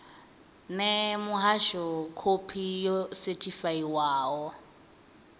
ṋee muhasho khophi yo sethifaiwaho